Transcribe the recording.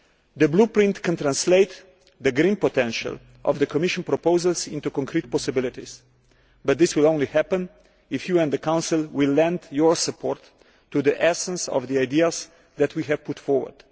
The Blueprint can translate the green potential of the Commission proposals into concrete possibilities, but this will only happen if you and the Council lend your support to the essence of the ideas that we have put forward.